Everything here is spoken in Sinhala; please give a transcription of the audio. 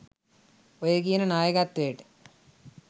ඔය කියන නායකත්වයට